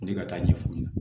Ne ka taa ɲɛ fu ɲɛna